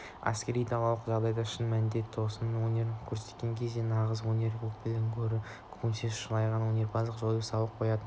әскер далалық жағдайда шын мәніндегі тосын өнер көрсеткен кезде нағыз өнер өкілдерінен гөрі көбінесе шалағай өнерпаздар ойын-сауық қоятынын